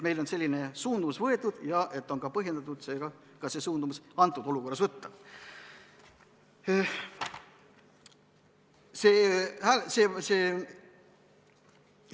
Meil on selline suund võetud ja seega on põhjendatud ka antud olukorras see suund võtta.